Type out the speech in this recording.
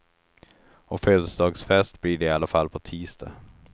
Och födelsedagsfest blir det i alla fall på tisdag.